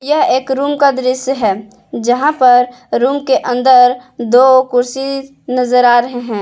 यह एक रूम का दृश्य है जहां पर रूम के अंदर दो कुर्सी नजर आ रहे हैं।